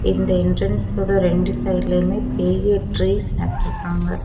இந்த என்ட்ரன்ஸ் ஓட ரெண்டு சைடுலயுமே ட்ரீஸ் நட்ருக்காங்க.